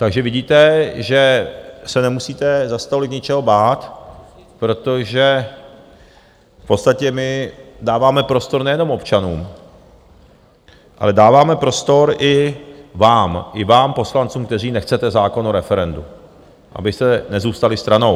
Takže vidíte, že se nemusíte zas tolik něčeho bát, protože v podstatě my dáváme prostor nejenom občanům, ale dáváme prostor i vám, i vám poslancům, kteří nechcete zákon o referendu, abyste nezůstali stranou.